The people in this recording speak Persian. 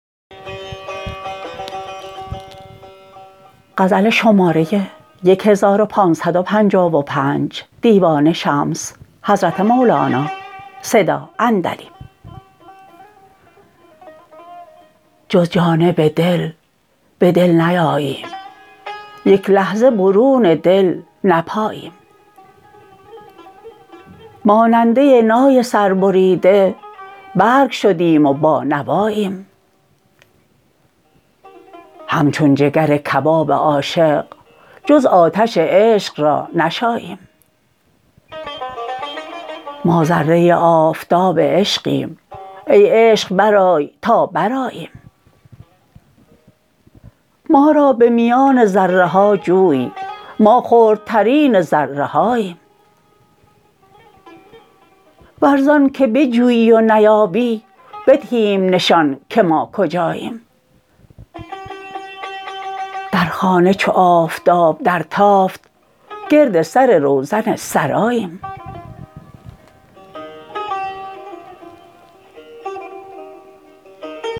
جز جانب دل به دل نیاییم یک لحظه برون دل نپاییم ماننده نای سربریده بی برگ شدیم و بانواییم همچون جگر کباب عاشق جز آتش عشق را نشاییم ما ذره آفتاب عشقیم ای عشق برآی تا برآییم ما را به میان ذره ها جوی ما خردترین ذره هاییم ور زانک بجویی و نیابی بدهیم نشان که ما کجاییم در خانه چو آفتاب درتافت گرد سر روزن سراییم